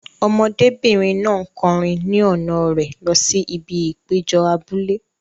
Ọmọdébìnrin náà ń kọrin ni ọ̀nà rẹ̀ lọ sí ibi ìpéjọ abúlé.